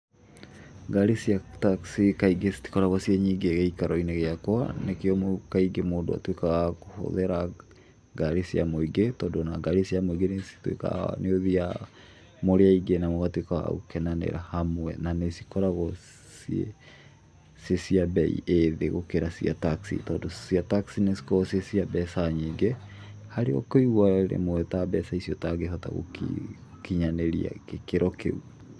Ngari cia taxi kaingĩ citikoragwo ciĩ nyingĩ gĩikaro-inĩ gĩakwa, nĩkĩo kaingĩ mũndũ atuĩkaga wa kũhũthĩra ngari cia mũingĩ, tondũ ona ngari cia mũingĩ nĩcituĩkaga, nĩũthiaga mũrĩ aingĩ na mũgatuĩka a gũkenanĩra hamwe, na nĩ cikoragwo ciĩ cia bei ĩ thĩ gũkĩra cia taxi tondũ cia taxi nĩcikoragwo ciĩ cia mbeca nyingĩ harĩa ũkũigũa rĩmwe ta mbeca icio ũtangĩhota gũkinyanĩria gĩkĩro kĩu.